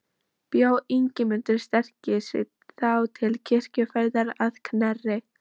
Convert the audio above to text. Bjó Ingimundur sterki sig þá til kirkjuferðar að Knerri.